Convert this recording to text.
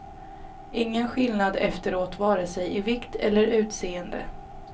Ingen skillnad efteråt vare sig i vikt eller utseende.